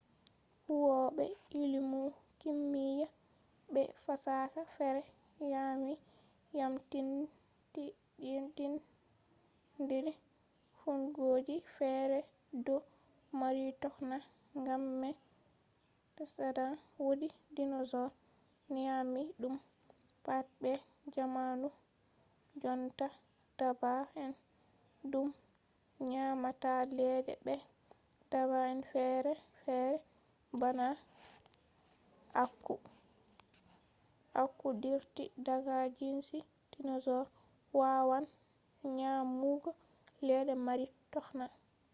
huwobe illimu kimiya be fasaha fere yamyamtindiri fuunngoji fere do mari tokna gam mai tsadan wodi dinosaur nyami dum pat be jamanu jonta dabba'en dum nyamata ledde be dabba'en ferefere bana aku aku dirti daga jinsi dinosaur wawan nyamugo ledde mari tokna